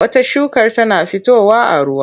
Wata shukar tana fitowa a ruwa.